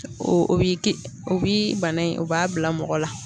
O bi ki o bi bana in o b'a bila mɔgɔ la